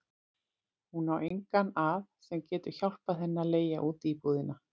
Hún á engan að sem getur hjálpað henni að leigja út íbúðina.